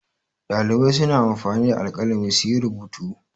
Ɗalibai suna anfani da alƙalami su yi rubutu.